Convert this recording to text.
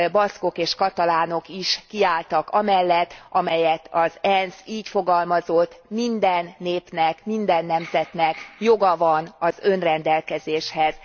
Baszkok és katalánok is kiálltak amellett, amelyet az ENSZ így fogalmazott minden népnek, minden nemzetnek joga van az önrendelkezéshez.